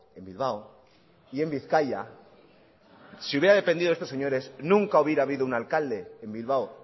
en bilbao y en bizkaia si hubiera dependido de estos señores nunca hubiera habido un alcalde en bilbao